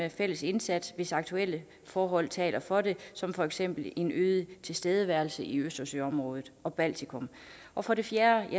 i fælles indsatser hvis aktuelle forhold taler for det som for eksempel en øget tilstedeværelse i østersøområdet og baltikum og for det fjerde